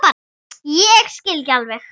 Ég skil ekki alveg